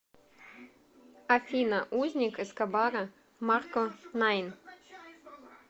афина узник эскобара марко найн